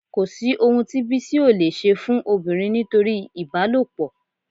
Kò sí ohun tí Bísí ò leè ṣe fún obìnrin nítorí ìbálòpọ̀